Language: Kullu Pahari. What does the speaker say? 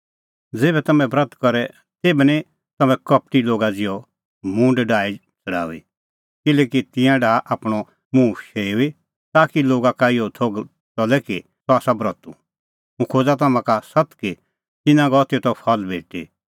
ज़ेभै तम्हैं ब्रत करे तेभै निं तम्हैं कपटी लोगा ज़िहअ मुंह डाही छ़ड़ाऊई किल्हैकि तिंयां डाहा आपणअ मुंह शेऊई ताकि लोगा का इहअ थोघ च़ले कि अह आसा ब्रतू हुंह खोज़ा तम्हां का सत्त कि तिन्नां गअ तेतो फल भेटी